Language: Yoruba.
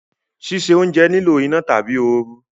Sise ounje nilo ina tabi ooru